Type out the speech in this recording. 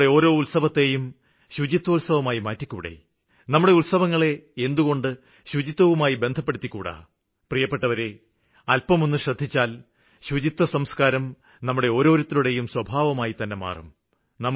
നമ്മുടെ ഓരോ ഉത്സവത്തേയും ശുചിത്വോത്സവമായി മാറ്റിക്കൂടേ നമ്മുടെ ഉത്സവങ്ങളെ എന്തുകൊണ്ട് ശുചിത്വവുമായി ബന്ധപ്പെടുത്തിക്കൂടാ പ്രിയപ്പെട്ടവരെ അല്പമൊന്ന് ശ്രദ്ധിച്ചാല് ശുചിത്വസംസ്കാരം നമ്മുടെ ഓരോരുത്തരുടെയും സ്വഭാവമായിത്തന്നെ മാറും